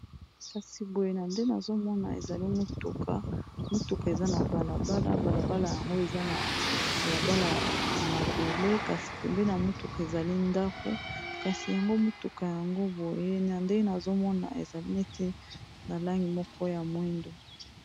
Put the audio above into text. kasi boye na nde nazomona ezali motuka motuka eza na balabala balabala yango eza na balabala ya mabele kasi pembe na motuka ezali ndako kasi yango motuka yango boye na nde nazomona ezali neti na langi moko ya mwindo